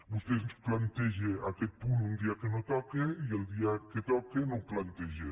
vostè ens planteja aquest punt un dia que no toca i el dia que toca no ho planteja